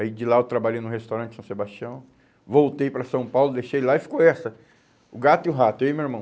Aí de lá eu trabalhei no restaurante São Sebastião, voltei para São Paulo, deixei ele lá e ficou essa, o gato e o rato, eu e meu irmão.